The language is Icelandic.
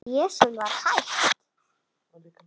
Ég sem var hætt.